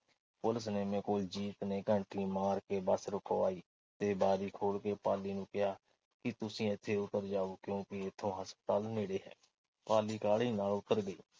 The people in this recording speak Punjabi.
ਕੋਲ ਜੀਤ ਨੇ ਘੰਟੀ ਮਾਰ ਕੇ ਬੱਸ ਰੁਕਵਾਈ ਤੇ ਬਾਰੀ ਖੋਲ੍ਹ ਕੇ ਪਾਲੀ ਨੂੰ ਕਿਹਾ ਕਿ ਤੁਸੀਂ ਇਥੇ ਉਤਰ ਜਾਓ ਕਿਉਂਕਿ ਇਥੋਂ ਹਸਪਤਾਲ ਨੇੜੇ ਹੈ। ਪਾਲੀ ਕਾਹਲੀ ਨਾਲ ਉਤਰ ਗਈ।